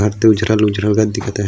और तो उजरा ल उजरा कस दिखत हे।